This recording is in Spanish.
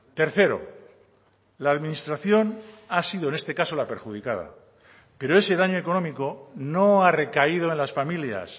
tercero la administración ha sido en este caso la perjudicada pero ese daño económico no ha recaído en las familias